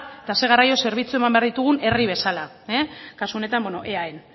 eta zer garraio zerbitzu eman behar ditugun herri bezala kasu honetan eaen